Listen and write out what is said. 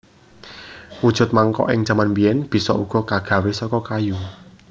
Wujud mangkok ing jaman biyen bisa uga kagawe saka kayu